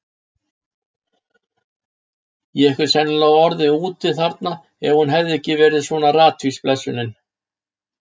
Ég hefði sennilega orðið úti þarna ef hún hefði ekki verið svona ratvís, blessunin.